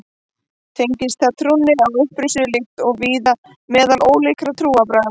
Tengist það trúnni á upprisuna líkt og víða meðal ólíkra trúarbragða.